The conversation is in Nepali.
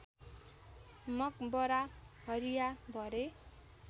मकबरा हरिया भरे